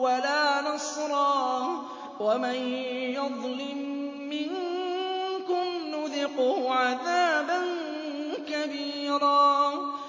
وَلَا نَصْرًا ۚ وَمَن يَظْلِم مِّنكُمْ نُذِقْهُ عَذَابًا كَبِيرًا